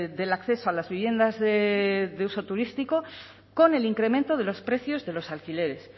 del acceso a las viviendas de uso turístico con el incremento de los precios de los alquileres